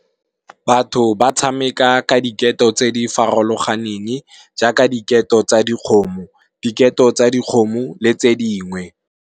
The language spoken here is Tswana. Batho ba tshameka ka diketo tse di farologaneng jaaka diketo tsa dikgomo, diketo tsa dikgomo le tse dingwe.